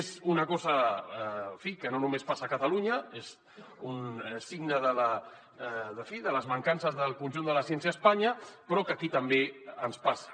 és una cosa en fi que no només passa a catalunya és un signe de les mancances del conjunt de la ciència a espanya però que aquí també ens passa